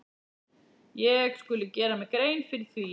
Ég skuli gera mér grein fyrir því.